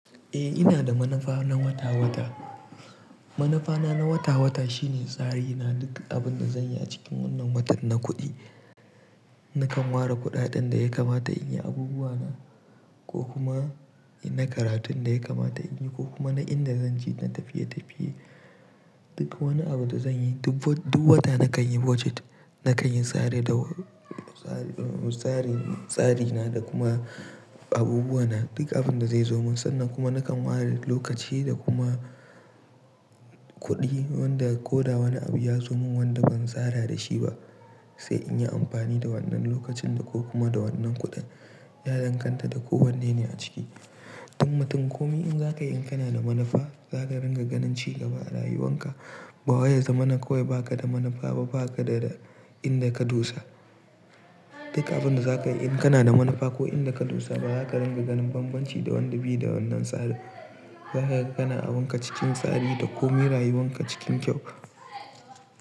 Eh ina da manufa na wata-wata. Manufa na, na wata-wata shine tsari na duk abin da zanyi a cikin wannan watan na kuɗi. Nakan ware kuɗaɗen da ya kamata in yi abubuwa na ko kuma na karatun da ya kamata in yi ko kuma na inda zanjei na tafiye-tafiye. Duk wani abu da zanyi duk wata nakan yi budget, nakan yi tsari, tsari na da kuma abubuwa na. Duk abin da zai zo min sannan kuma nakan ware lokaci da kuma kuɗi wanda ko da wani abu ya zo min wanda ban tsara da shi ba sai in yi amfani da wannan lokacin da ko kuma da wannan kuɗin, ya danganta da ko wanne ne a ciki. In mutum komai in zaka yi in kana da manufa zaka ringa ganin cigaba a rayuwan ka. Ba waye zama na kawai baka da manufa ba baka da inda ka dosa. Duk abin da zaka yi in kana da manufa ko inda ka dosa ba zaka ringa ganin banbanci da wanda bi da wannan tsari. Zaka ringa ganin abun ka cikin tsari da koma rayuwan ka cikin kyau.